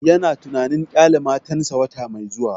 Ya na tunanin ƙyale matan sa wata mai zuwa